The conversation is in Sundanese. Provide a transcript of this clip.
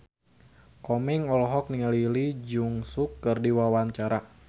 Komeng olohok ningali Lee Jeong Suk keur diwawancara